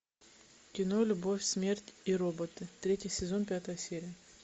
кино любовь смерть и роботы третий сезон пятая серия